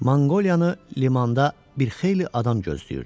Manqoliyanı limanda bir xeyli adam gözləyirdi.